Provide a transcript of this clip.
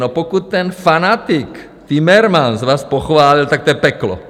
No, pokud ten fanatik Timmermans vás pochválil, tak to je peklo.